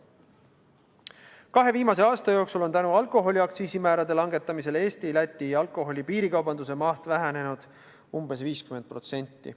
Kahe viimase aasta jooksul on tänu alkoholiaktsiisi langetamisele Eesti-Läti alkoholi piirikaubanduse maht vähenenud umbes 50%.